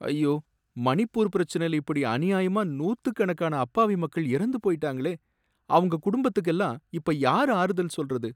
ஐயோ! மணிப்பூர் பிரச்சனைல இப்படி அநியாயமா நூத்துக்கணக்கான அப்பாவி மக்கள் இறந்து போயிட்டாங்களே, அவங்க குடும்பத்துக்கெல்லாம் இப்ப யாரு ஆறுதல் சொல்றது?